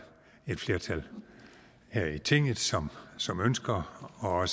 et flertal her i tinget som som ønsker og